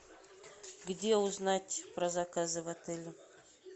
где узнать про заказы в отеле